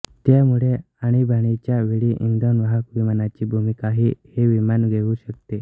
त्यामुळे आणीबाणीच्या वेळी इंधन वाहक विमानाची भूमिकाही हे विमान घेऊ शकते